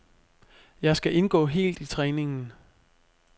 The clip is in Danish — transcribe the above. Jeg skal indgå helt i træningen.